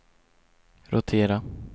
rotera